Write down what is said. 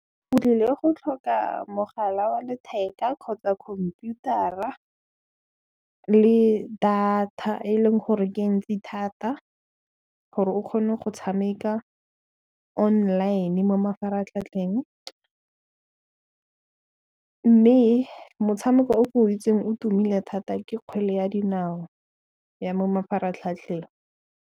O tliile go tlhoka mogala wa letheka kgotsa khompiurata le data e e leng gore ke e ntsi thata gore o kgone go tshameka online mo mafaratlhatlheng, mme motshameko ke o itseng o tumile thata ke kgwele ya dinao ya mo mafaratlhatlheng.